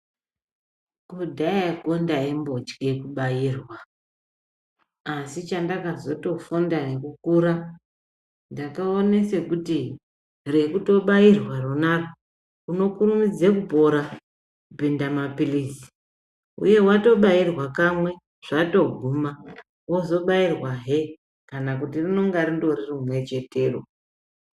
Kudhayako ndaimbotye kubairwa asi chandakazotofunda ngekukura ndakaona sekuti rekutobairwa rakhona iroro unokurumidza kupora kudarika maphirizi uyehe watobaiwa kamwe zvatoguma kana kuti wozobairwazve rinenge rindori rimwe iroro.